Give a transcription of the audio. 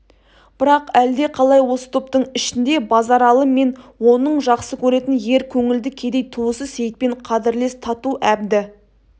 бірақ әлдеқалай осы топтың ішінде базаралы мен оның жақсы көретін ер көңілді кедей туысы сейітпен қадірлес тату әбді